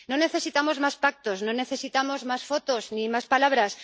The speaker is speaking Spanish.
No necesitamos más pactos, no necesitamos más fotos ni más palabras.